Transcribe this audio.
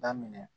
Daminɛ